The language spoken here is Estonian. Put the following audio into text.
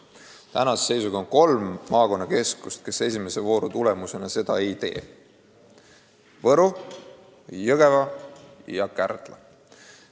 Tänase seisuga on kolm maakonnakeskust, kuhu esimese vooru tulemusena seda ei tule: Võru, Jõgeva ja Kärdla.